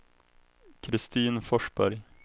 Kristin Forsberg